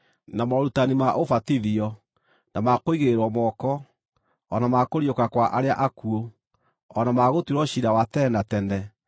na morutani ma ũbatithio, na ma kũigĩrĩrwo moko, o na ma kũriũka kwa arĩa akuũ, o na ma gũtuĩrwo ciira wa tene na tene.